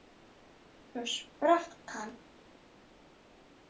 Svo sprakk hann.